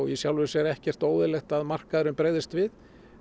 í sjálfu sér ekkert óeðlilegt að markaðurinn bregðist við